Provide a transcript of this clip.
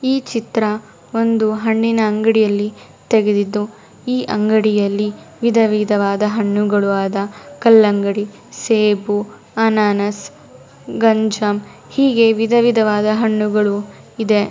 ಈ ಚಿತ್ರ ಒಂದು ಹಣ್ಣಿನ್ನ ಅಂಗಡಿಯಲ್ಲಿ ತೆಗೆದಿದ್ದು ಈ ಅಂಗಡಿಯಲ್ಲಿ ವಿಧ ವಿಧವಾದ ಹಣ್ಣುಗಳು ಆದ ಕಲ್ಲಂಗಡಿ ಸೇಬು ಅನಾನಸ್ ಗಣಜಮ್ ಹೀಗೆ ವಿಧ ವಿಧ ವಾದ ಹಣ್ಣುಗಳು ಇದೆ.